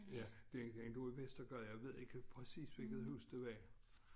Ja den den lå i Vestergade jeg ved ikke præcis hvilket hus det var